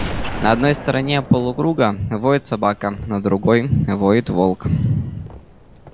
на одной стороне полукруга воет собака на другой воет волк